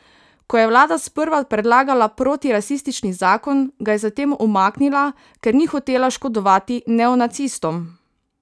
Ko je vlada sprva predlagala protirasistični zakon, ga je zatem umaknila, ker ni hotela škodovati neonacistom.